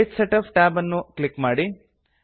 page setup tab ಅನ್ನು click ಮಾಡಿ